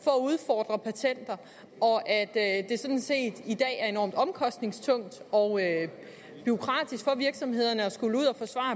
for at udfordre patenter og at at det sådan set i dag er enormt omkostningstungt og bureaukratisk for virksomhederne at skulle ud